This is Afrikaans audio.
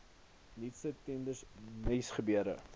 nuutste tenders nuusgebeure